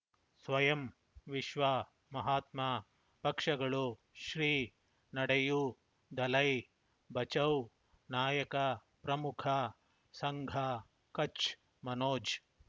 ಸ್ವಯಂ ವಿಶ್ವ ಮಹಾತ್ಮ ಪಕ್ಷಗಳು ಶ್ರೀ ನಡೆಯೂ ದಲೈ ಬಚೌ ನಾಯಕ ಪ್ರಮುಖ ಸಂಘ ಕಚ್ ಮನೋಜ್